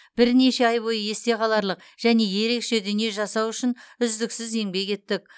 бірнеше ай бойы есте қаларлық және ерекше дүние жасау үшін үздіксіз еңбек еттік